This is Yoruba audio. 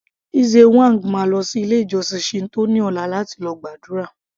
Lze whang máa lọ sí ilé ìjósìn Shinto ní ọ̀la láti lọ gbàdúrà